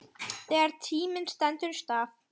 Þegar tíminn stendur í stað